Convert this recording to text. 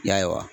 Ya